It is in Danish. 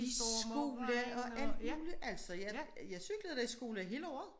I skole og alt muligt altså jeg cyklede da i skole hele året